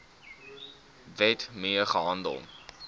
wet mee gehandel